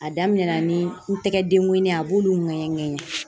A daminɛ na ni n tɛgɛ dengonanin ye a b'olu ŋɛɲɛ ŋɛɲɛ.